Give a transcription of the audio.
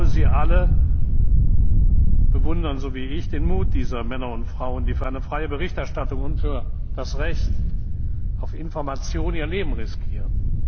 Ich glaube, Sie alle bewundern so wie ich den Mut dieser Männer und Frauen, die für eine freie Berichterstattung und für das Recht auf Information ihr Leben riskieren.